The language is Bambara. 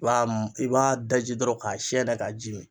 I b'a i b'a daji dɔrɔn k'a siyɛnɛ k'a ji min.